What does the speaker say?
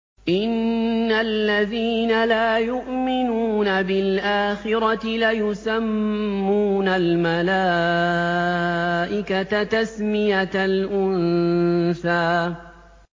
إِنَّ الَّذِينَ لَا يُؤْمِنُونَ بِالْآخِرَةِ لَيُسَمُّونَ الْمَلَائِكَةَ تَسْمِيَةَ الْأُنثَىٰ